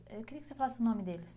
Eu queria que você falasse o nome deles.